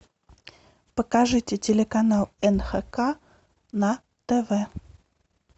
покажите телеканал нхк на тв